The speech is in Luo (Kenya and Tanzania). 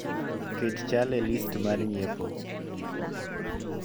Ket chal e listi mar nyiepo